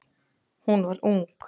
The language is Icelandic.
Hún var ung.